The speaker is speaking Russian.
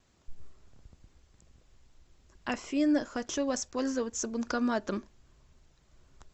афина хочу воспользоваться банкоматом